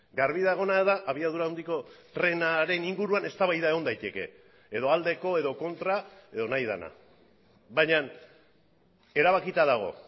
garbi dagoena da abiadura handiko trenaren inguruan eztabaida egon daiteke edo aldeko edo kontra edo nahi dena baina erabakita dago